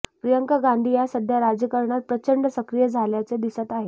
प्रियांका गांधी या सध्या राजकारणात प्रचंड सक्रिय झाल्याचे दिसत आहेत